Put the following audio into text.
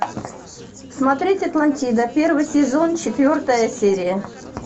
смотреть атлантида первый сезон четвертая серия